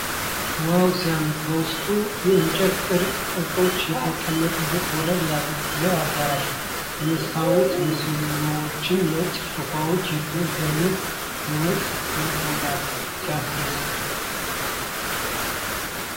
ዋው ሲያምር ! በውስጡ የእንጨት ቅርጻ ቅርጾችና የተንቆጠቆጠ ወለል ያለው አዳራሽ ። የመስታወት ምሰሶዎችና ነጭ ሶፋዎች የድሮ ዘመን ውበት ያጎላሉ ። ሲያስደስት !